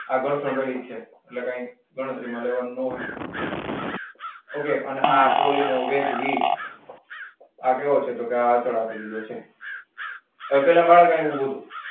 એટલે કાંઈ ગણતરીમાં લેવાનું ન હોય. okay અને આ ટ્રોલીનો વેટ વી આપ્યો છે જોકે આગળ આપી દીધો છે.